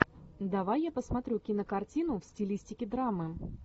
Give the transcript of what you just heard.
давай я посмотрю кинокартину в стилистике драмы